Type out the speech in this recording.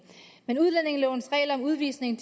men udlændingelovens regler om udvisning